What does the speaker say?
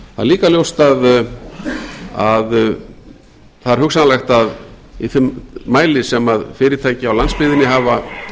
er líka ljóst að það er hugsanlegt að í þeim mæli sem fyrirtæki á landsbyggðinni hafa